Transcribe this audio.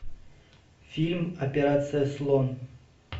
фильм операция слон